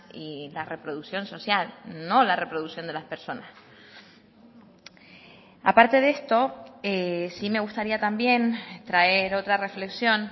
y la reproducción social no la reproducción de las personas a parte de esto sí me gustaría también traer otra reflexión